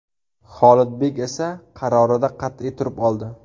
Xolidbek esa qarorida qat’iy turib oldi.